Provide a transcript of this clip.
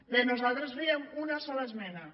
bé nosaltres fèiem una sola esmena